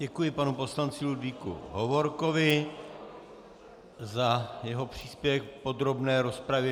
Děkuji panu poslanci Ludvíku Hovorkovi za jeho příspěvek v podrobné rozpravě.